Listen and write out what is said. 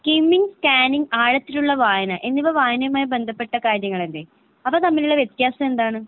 കിംമിങ് scanning ആഴത്തിലുള്ള വായന എന്നിവ വായനയുമായി ബന്ധപ്പെട്ട കാര്യങ്ങളല്ലേ? അവ തമ്മിലുള്ള വ്യത്യാസം എന്താണ്?